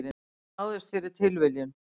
Hann náðist fyrir tilviljun